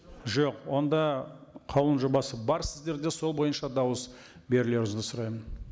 жоқ онда қаулының жобасы бар сіздерде сол бойынша дауыс берулеріңізді сұраймын